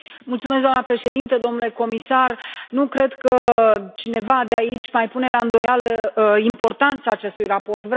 Mulțumesc, doamna președintă, domnule comisar, nu cred că cineva de aici mai pune la îndoială importanța acestui raport.